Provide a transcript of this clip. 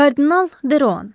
Kardinal Deroan.